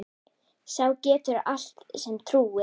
Sá getur allt sem trúir.